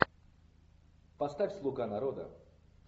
поставь слуга народа